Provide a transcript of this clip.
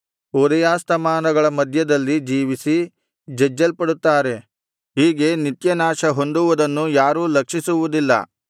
ಉದಯಾಸ್ತಮಾನಗಳ ಮಧ್ಯದಲ್ಲಿ ಜೀವಿಸಿ ಜಜ್ಜಲ್ಪಡುತ್ತಾರೆ ಹೀಗೆ ನಿತ್ಯನಾಶ ಹೊಂದುವುದನ್ನು ಯಾರೂ ಲಕ್ಷಿಸುವುದಿಲ್ಲ